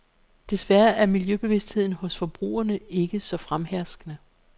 Desværre er miljøbevidstheden hos forbrugerne ikke så fremherskende.